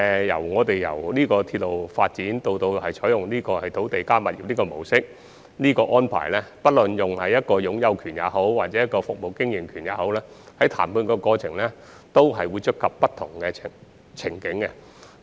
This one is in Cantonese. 由鐵路發展以至採用"鐵路加物業"的模式，不論是涉及擁有權或服務經營權模式，在談判過程中均會觸及不同情景。